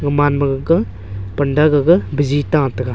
oman ma gaga panda gaga bizi ta taiga.